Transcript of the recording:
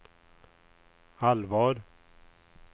allvar